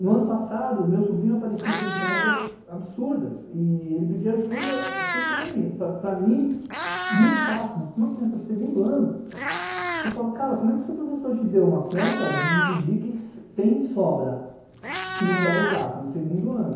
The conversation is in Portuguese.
No ano passado, meu sobrinho apareceu com contas absurdas, e ele pedia ajuda, tudo bem, para para mim, muito fácil, mas para uma criança de segundo ano, eu falava, cara, como é que seu professor te deu uma conta de dividir que tem sobra, que não dá exata, no segundo ano?